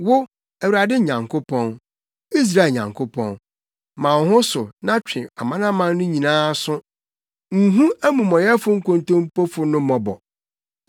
Wo, Awurade Nyankopɔn, Israel Nyankopɔn, ma wo ho so na twe amanaman no nyinaa aso; nhu amumɔyɛfo nkontompofo no mmɔbɔ.